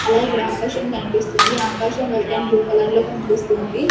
అలాగే ఇక్కడ ఆకాశం కనిపిస్తుంది ఆకాశం వైట్ అండ్ బ్లూ కలర్ లో కనిపిస్తోంది.